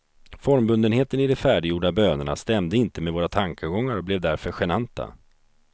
Formbundenheten i de färdiggjorda bönerna stämde inte med våra tankegångar och blev därför genanta.